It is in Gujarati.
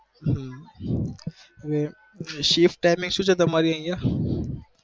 હમ shift timing સુ છે તમારી અહિયાં